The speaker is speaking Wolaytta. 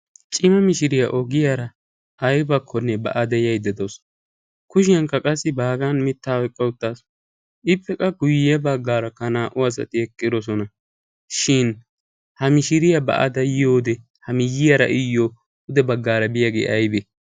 Cima mishiriyaa ogiyaara aybakkonne ba'ada yayda de'awusu. Kushiyaankka qassi baagan mitta oyqqa uttaasu. Ippekka guyye baggaarakka naa'u asati eqqidosona. Shin ha mishiriyaa ba'ada yiyowode ha miyyiyaara iyyo pude baggaara biyaage aybe?